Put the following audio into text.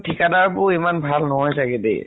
ঠিকাদাৰবোৰ ইমান ভাল নহয় চাগে দে।